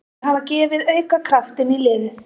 Þeir hafa gefið auka kraft inn í liðið.